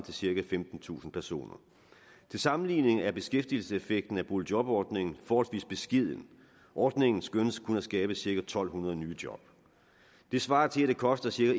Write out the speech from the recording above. cirka femtentusind personer til sammenligning er beskæftigelseseffekten af boligjobordningen forholdsvis beskeden ordningen skønnes kun at skabe cirka en tusind to hundrede nye job det svarer til at det koster cirka